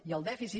i el dèficit